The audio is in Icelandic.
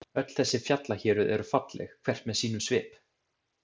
Öll þessi fjallahéruð eru falleg, hvert með sínum svip.